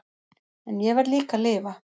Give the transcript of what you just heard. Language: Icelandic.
En ég verð líka að lifa.